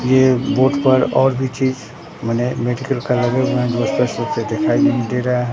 ये बोर्ड पर और भी चीज बने मेडिकल कॉलेज दिखाई नहीं दे रहा है।